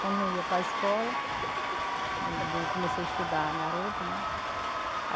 Quando eu ia para escola, eu comecei a estudar garota, né?